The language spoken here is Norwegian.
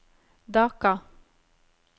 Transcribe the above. Dhaka